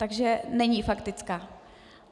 Takže není faktická?